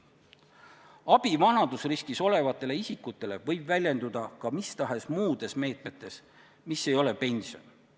Abi vanadusriskis olevatele isikutele võib väljenduda ka mis tahes muudes meetmetes, mis ei ole pension.